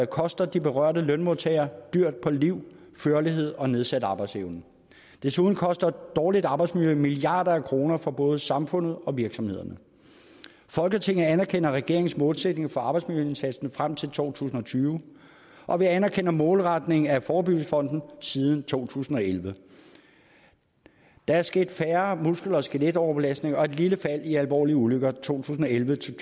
koster de berørte lønmodtagere dyrt på liv førlighed og nedsat arbejdsevne desuden koster dårligt arbejdsmiljø milliarder af kroner for både samfundet og virksomhederne folketinget anerkender regeringens målsætning for arbejdsmiljøindsatsen frem til to tusind og tyve og vi anerkender målretningen af forebyggelsesfonden siden to tusind og elleve der er sket færre muskel og skeletoverbelastninger og et lille fald i alvorlige ulykker to tusind og elleve til